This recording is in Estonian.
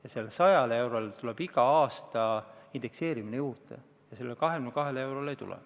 Ja sellele 100 eurole tuleb iga aasta indekseerimise lisa juurde, aga sellele 22 eurole ei tule.